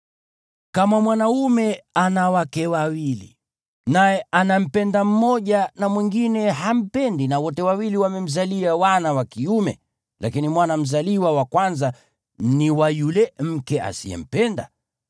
Kama mwanaume ana wake wawili, naye anampenda mmoja na mwingine hampendi na wote wawili wamemzalia wana wa kiume, lakini mwana mzaliwa wa kwanza ni wa yule mke asiyempenda,